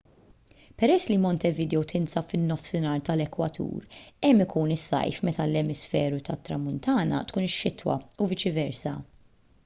peress li montevideo tinsab fin-nofsinhar tal-ekwatur hemm ikun is-sajf meta fl-emisferu tat-tramuntana tkun ix-xitwa u viċi versa